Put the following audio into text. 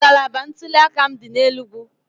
Ngalaba ntuliaka m dị n'Enugwu